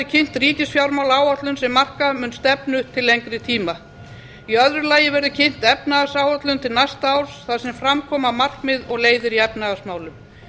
kynnt ríkisfjármálaáætlun sem marka mun stefnu til lengri tíma í öðru lagi verður kynnt efnahagsáætlun til næsta árs þar sem fram koma markmið og leiðir í efnahagsmálum